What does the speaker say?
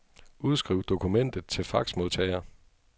Udskriv dokumentet til faxmodtager.